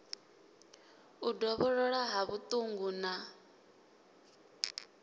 u dovholola ha vhuṱungu na